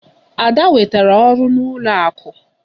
Ada nwetara ọrụ n'ụlọ akụ.